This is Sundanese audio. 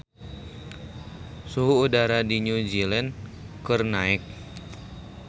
Suhu udara di New Zealand keur naek